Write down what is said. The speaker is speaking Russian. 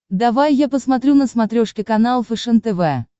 давай я посмотрю на смотрешке канал фэшен тв